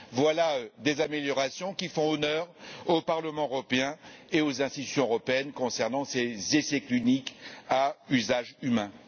Voilà des améliorations qui font honneur au Parlement européen et aux institutions européennes concernant ces essais cliniques à usage humain.